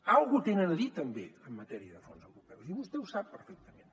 alguna cosa tenen a dir també en matèria de fons europeus i vostè ho sap perfectament